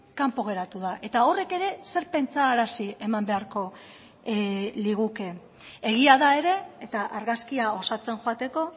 kanpo geratu da eta horrek ere zer pentsarazi eman beharko liguke egia da ere eta argazkia osatzen joateko